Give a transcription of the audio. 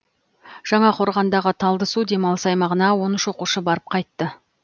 жаңақорғандағы талдысу демалыс аймағына он үш оқушы барып қайтты